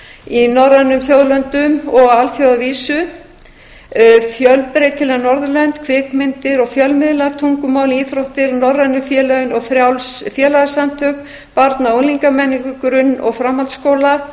í norrænum þjóðlöndum og á alþjóðavísu fjölbreytileg norðurlönd kvikmyndir og fjölmiðla tungumál íþróttir norrænu félögin og frjáls félagasamtök barna og unglingamenningu grunn og framhaldsskóla